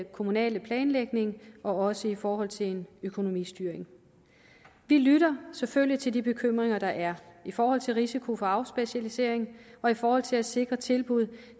kommunale planlægning også i forhold til en økonomistyring vi lytter selvfølgelig til de bekymringer der er i forhold til risiko for afspecialisering og i forhold til at sikre tilbud